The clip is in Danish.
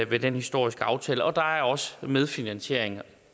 ved den historiske aftale og der er også medfinansiering